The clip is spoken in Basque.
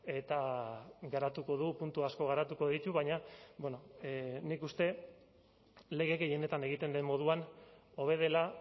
eta garatuko du puntu asko garatuko ditu baina nik uste lege gehienetan egiten den moduan hobe dela